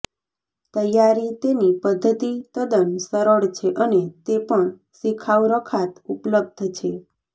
તૈયારી તેની પદ્ધતિ તદ્દન સરળ છે અને તે પણ શિખાઉ રખાત ઉપલબ્ધ છે